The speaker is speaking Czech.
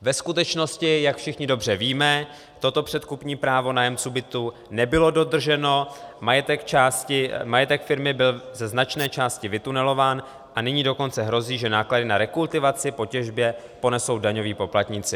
Ve skutečnosti, jak všichni dobře víme, toto předkupní právo nájemců bytů nebylo dodrženo, majetek firmy byl ze značné části vytunelován, a nyní dokonce hrozí, že náklady na rekultivaci po těžbě ponesou daňoví poplatníci.